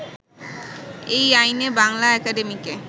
এই আইনে বাংলা একাডেমিকে